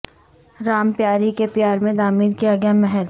رام پیاری کے پیار میں تعمیر کیا گیا محل